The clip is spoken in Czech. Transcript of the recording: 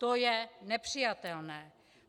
To je nepřijatelné.